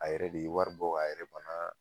A yɛrɛ de wari bɔ a yɛrɛ bana